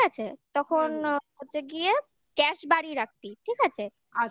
আছে? তখন হচ্ছে গিয়ে গ্যাস বাড়িয়ে রাখবি ঠিক আছে?